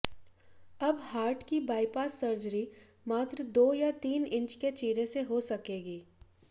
अब हार्ट की bypass surgery मात्र दो या तीन इंच के चीरे से हो सकेगी